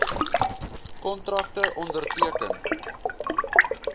kontrakte onderteken